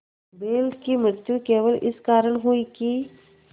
बैल की मृत्यु केवल इस कारण हुई कि